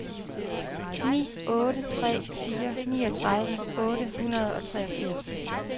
ni otte tre fire niogtredive otte hundrede og treogfirs